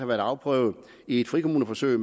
været afprøvet i et frikommuneforsøg